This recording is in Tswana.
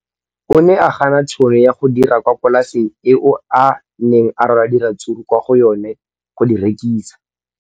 O ne a gana tšhono ya go dira kwa polaseng eo a neng rwala diratsuru kwa go yona go di rekisa.